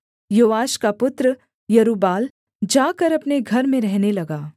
योआश का पुत्र यरूब्बाल जाकर अपने घर में रहने लगा